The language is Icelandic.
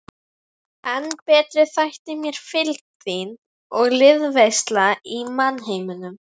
En betri þætti mér fylgd þín og liðveisla í mannheimum.